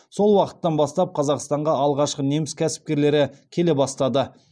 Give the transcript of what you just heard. сол уақыттан бастап қазақстанға алғашқы неміс кәсіпкерлері келе бастады